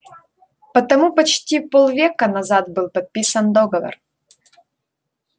потому почти полвека назад был подписан договор